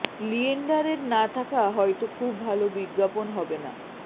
লিয়েন্ডারের না থাকা হয়তো খুব ভাল বিজ্ঞাপন হবে না